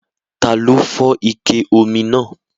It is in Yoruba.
Taló fọ́ ike omi náà?